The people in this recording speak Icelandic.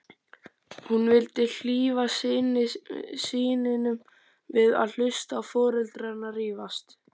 Hún vildi hlífa syninum við að hlusta á foreldrana rífast.